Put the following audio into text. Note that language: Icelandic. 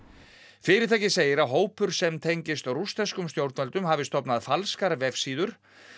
fyrirtækið segir að hópur sem tengist rússneskum stjórnvöldum hafi stofnað falskar vefsíður